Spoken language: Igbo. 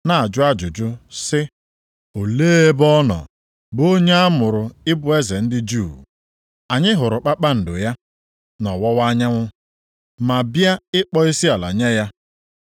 na-ajụ ajụjụ sị, “Olee ebe ọ nọ, bụ onye a mụrụ ịbụ eze ndị Juu? Anyị hụrụ kpakpando ya + 2:2 Kpakpando ya mgbe ọ walitere nʼọwụwa anyanwụ, ma bịa ịkpọ isiala nye ya.”